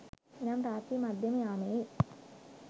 එනම් රාත්‍රී මධ්‍යම යාමයේ